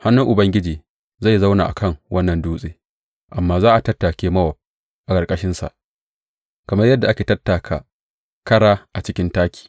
Hannun Ubangiji zai zauna a kan wannan dutse; amma za a tattake Mowab a ƙarƙashinsa kamar yadda ake tattaka kara a cikin taki.